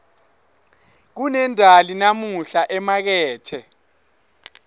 kunendali namuhla emakethe